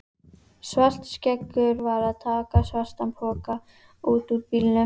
Svartskeggur var að taka svartan poka út úr bílnum.